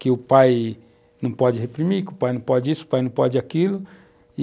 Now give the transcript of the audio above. que o pai não pode reprimir, que o pai não pode isso, o pai não pode aquilo.